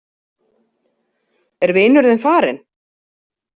Er vinur þinn farinn?